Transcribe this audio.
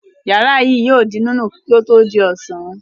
Ìyàrá yìí yóò di nínú kí ó tó di ọ̀sán.